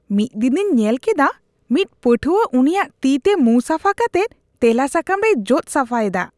ᱢᱤᱫ ᱫᱤᱱᱤᱧ ᱧᱮᱞ ᱠᱮᱫᱟ ᱢᱤᱫ ᱯᱟᱹᱴᱷᱣᱟᱹ ᱩᱱᱤᱭᱟᱜ ᱛᱤᱛᱮ ᱢᱩᱸ ᱥᱟᱯᱷᱟ ᱠᱟᱛᱮᱫ ᱛᱮᱞᱟ ᱥᱟᱠᱟᱢ ᱨᱮᱭ ᱡᱚᱫ ᱥᱟᱯᱷᱟᱭᱮᱫᱟ ᱾